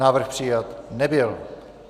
Návrh přijat nebyl.